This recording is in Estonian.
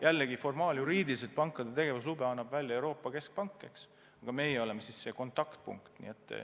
Jällegi, formaaljuriidiliselt annab pankade tegevuslube välja Euroopa Keskpank, aga meie oleme sel juhul see kontaktpunkt.